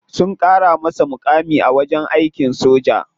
Sun kara masa mukami a wajen aikin soja.